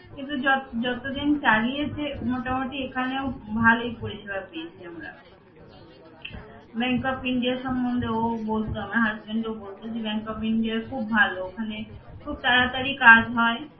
কিন্তু যত~ যতদিন চালিয়েছে মোটামুটি এখানেও ভালোই পরিষেবা পেয়েছে আমরা bank of India সম্বন্ধে ও বলতো আমার husband ও বলতো যে bank of India খুব ভাল ওখানে খুব তাড়াতাড়ি কাজ হয়